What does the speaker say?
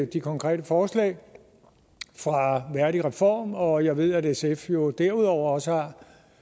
de konkrete forslag fra værdigreform og jeg ved at sf jo derudover også har